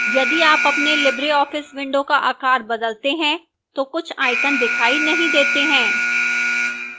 यदि आप अपने libreoffice window का आकार बदलते हैं तो कुछ icons दिखाई नहीं देते हैं